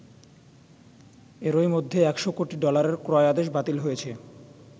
এরই মধ্যে একশো কোটি ডলারের ক্রয় আদেশ বাতিল হয়েছে।